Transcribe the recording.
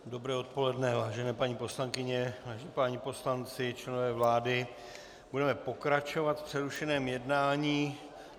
Dobré odpoledne, vážené paní poslankyně, vážení páni poslanci, členové vlády, budeme pokračovat v přerušeném jednání.